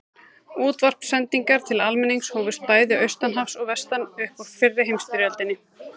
Útvarpssendingar til almennings hófust bæði austan hafs og vestan upp úr fyrri heimsstyrjöldinni.